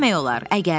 Neyləmək olar?